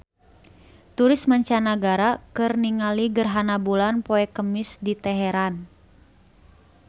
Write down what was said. Turis mancanagara keur ningali gerhana bulan poe Kemis di Teheran